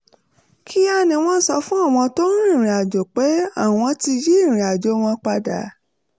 kíá ni wọ́n sọ fún àwọn tó ń rìnrìn àjò pé àwọn ti yí ìrìnàjò wọn padà